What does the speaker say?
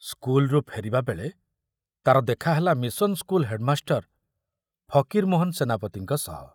ସ୍କୁଲରୁ ଫେରିବା ବେଳେ ତାର ଦେଖାହେଲା ମିଶନ ସ୍କୁଲ ହେଡ଼ମାଷ୍ଟର ଫକୀରମୋହନ ସେନାପତିଙ୍କ ସହ।